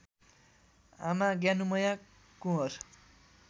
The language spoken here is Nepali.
आमा ज्ञानुमैया कुँवर